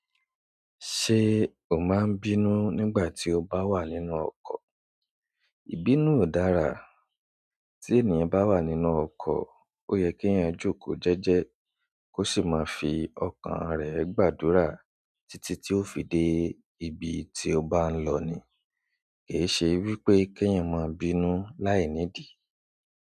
Ṣé o máa ń bínú nígbà tí o bá wà nínú ọkọ̀? Ìbínú ò dára. Tí ènìyàn bá wà nínú ọkọ̀, ó yẹ kí ènìyàn jókòó jẹ́jẹ́ kó sì máa fi ọkàn rẹ gbàdúrà títí tí ó fi dé ibi tí ó bá ń lọ ni. Ke e ṣe wípé kí ènìyàn máa bínú láì nídì.